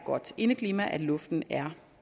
godt indeklima at luften er